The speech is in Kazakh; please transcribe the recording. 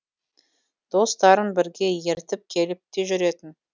достарын бірге ертіп келіп те жүретін